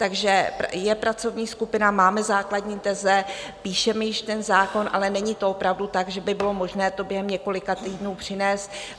Takže je pracovní skupina, máme základní teze, píšeme již ten zákon, ale není to opravdu tak, že by bylo možné to během několika týdnů přinést.